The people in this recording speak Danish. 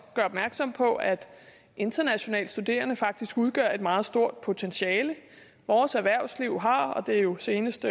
gøre opmærksom på at internationale studerende faktisk udgør et meget stort potentiale vores erhvervsliv har og det er jo senest